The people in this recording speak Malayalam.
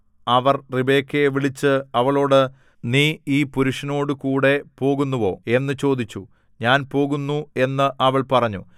അവർ റിബെക്കയെ വിളിച്ച് അവളോട് നീ ഈ പുരുഷനോടുകൂടെ പോകുന്നുവോ എന്നു ചോദിച്ചു ഞാൻ പോകുന്നു എന്ന് അവൾ പറഞ്ഞു